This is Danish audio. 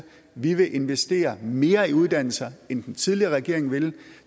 vi vil investere mere i uddannelse end den tidligere regering ville